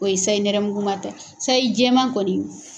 O ye sayi nɛrɛmuguma ta ye sayi jɛma kɔni